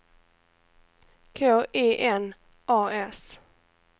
K I N A S